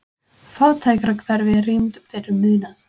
Fátækrahverfi rýmd fyrir munað